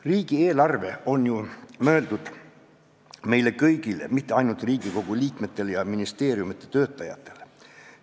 Riigieelarve on ju mõeldud meile kõigile, mitte ainult Riigikogu liikmetele ja ministeeriumite töötajatele.